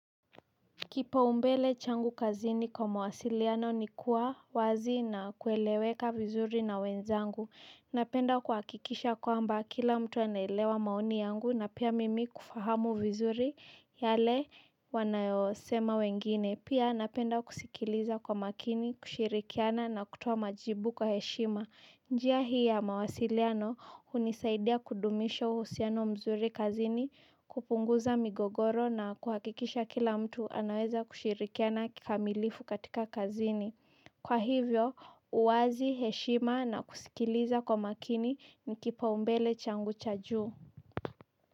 Kipaumbele changu kazini kwa mawasiliano ni kuwa wazi na kueleweka vizuri na wenzangu napenda kuhakikisha kwamba kila mtu anaelewa maoni yangu na pia mimi kufahamu vizuri yale wanayosema wengine pia napenda kusikiliza kwa makini, kushirikiana na kutoa majibu kwa heshima njia hii ya mawasiliano hunisaidia kudumisha uhusiano mzuri kazini, kupunguza migogoro na kuhakikisha kila mtu anaweza kushirikiana kikamilifu katika kazini. Kwa hivyo, uwazi heshima na kusikiliza kwa makini ni kipaumbele changu cha juu.